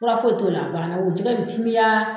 Fura foyi to la banna o ye jɛgɛ ni juguya.